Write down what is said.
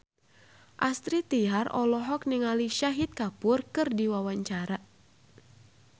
Astrid Tiar olohok ningali Shahid Kapoor keur diwawancara